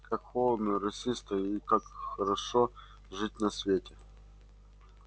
как холодно росисто и как хорошо жить на свете